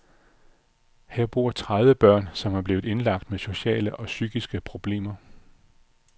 Her bor tredive børn, som er blevet indlagt med sociale og psykiske problemer.